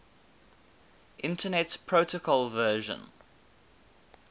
internet protocol version